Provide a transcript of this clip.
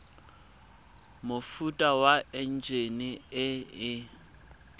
mofuta wa enjine e e